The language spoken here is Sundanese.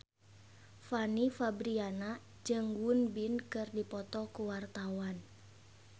Fanny Fabriana jeung Won Bin keur dipoto ku wartawan